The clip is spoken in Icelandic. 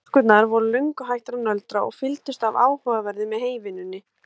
Stúlkurnar voru löngu hættar að nöldra og fylgdust af áhuga með heyvinnunni.